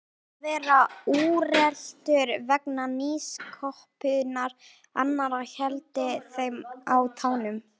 Óttinn við að verða úreltur vegna nýsköpunar annarra héldi þeim á tánum.